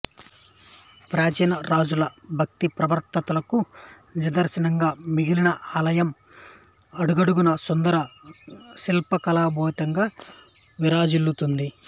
ప్రాచీన రాజుల భక్తిప్రవుత్తులకు నిదర్శనంగా మిగిలిన ఈ ఆలయం అడుగడుగునా సుందర శిల్పకళాశోభితంగా విరాజిల్లుతోంది